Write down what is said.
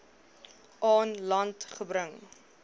aan land gebring